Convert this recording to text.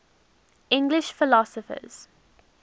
english philosophers